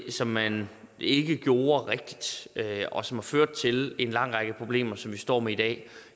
som man ikke gjorde rigtigt og som har ført til en lang række problemer som vi står med i dag